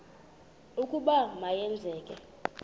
ukuba ma yenzeke